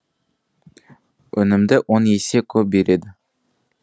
өнімді он есе көп береді